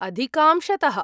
अधिकांशतः।